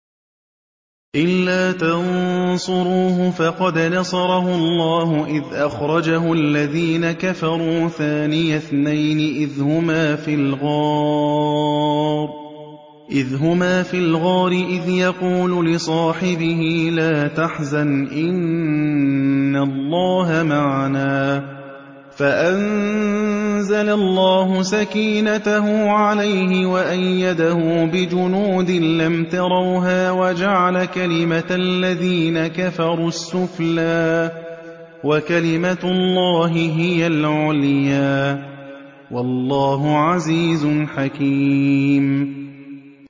إِلَّا تَنصُرُوهُ فَقَدْ نَصَرَهُ اللَّهُ إِذْ أَخْرَجَهُ الَّذِينَ كَفَرُوا ثَانِيَ اثْنَيْنِ إِذْ هُمَا فِي الْغَارِ إِذْ يَقُولُ لِصَاحِبِهِ لَا تَحْزَنْ إِنَّ اللَّهَ مَعَنَا ۖ فَأَنزَلَ اللَّهُ سَكِينَتَهُ عَلَيْهِ وَأَيَّدَهُ بِجُنُودٍ لَّمْ تَرَوْهَا وَجَعَلَ كَلِمَةَ الَّذِينَ كَفَرُوا السُّفْلَىٰ ۗ وَكَلِمَةُ اللَّهِ هِيَ الْعُلْيَا ۗ وَاللَّهُ عَزِيزٌ حَكِيمٌ